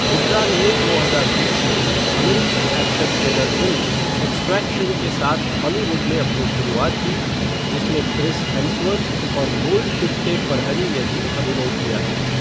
हुड्डा ने दो हजार बीस में अमेरिकी एक्शन थ्रिलर फ़िल्म एक्सट्रैक्शन के साथ हॉलीवुड में अपनी शुरुआत की, जिसमें क्रिस हेम्सवर्थ और गोल्डशिफ़्टे फ़रहनी ने भी अभिनय किया।